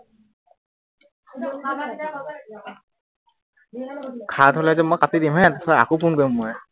সাত হলে যে কাটি দিম হে, তাৰপিছত আকৌ phone কৰিম মই